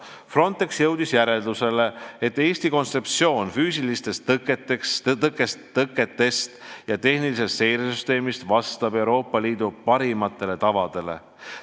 Frontex jõudis järeldusele, et Eesti füüsiliste tõkete ja tehnilise seire süsteemi kontseptsioon vastab Euroopa Liidu parimatele tavadele.